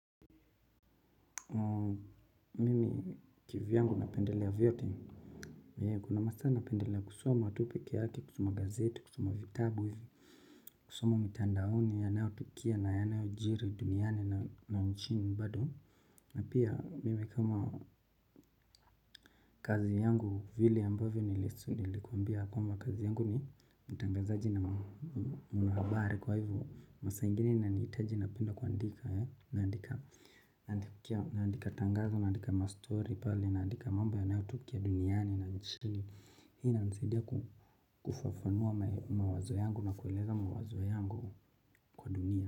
Mimi kivyangu napendelea vyote. Kuna masaa napendelea kusoma tu peke yake, kusoma gazeti kusoma vitabu hivi. Kusoma mitandaoni yanayo tukia na yanayo jiri duniani na nchini bado na pia mimi kama kazi yangu vile ambavyo nilikuambia kwamba kazi yangu ni mtangazaji na mahabari kwa hivyo masaa ingine inanitaji napenda kuandika. Naandika tangazo, naandika ma story pale, naandika mambo yanayotokea duniani na nchini. Hii inansidia kufafanua mawazo yangu na kueleza mawazo yangu kwa dunia.